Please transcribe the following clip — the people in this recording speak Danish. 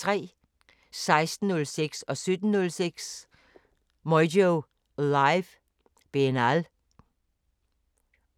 16:06: Moyo Live: Benal 17:06: Moyo Live: Benal